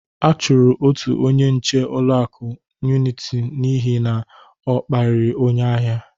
A chọrọ otu onye nche ụlọaku Uniti n'ihi na ọ kparịrị onye ahia.